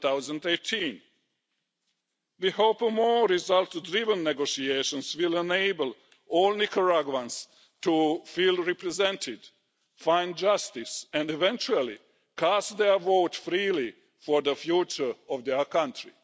2018. We hope more result driven negotiations will enable all Nicaraguans to feel represented, find justice and, eventually, cast their votes freely for the future of their country.